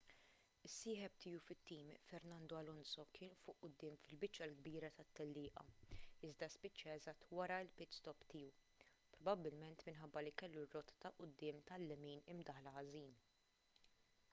is-sieħeb tiegħu fit-tim fernando alonso kien fuq quddiem fil-biċċa l-kbira tat-tellieqa iżda spiċċaha eżatt wara l-pit-stop tiegħu probabbilment minħabba li kellu r-rota ta' quddiem tal-lemin imdaħħla ħażin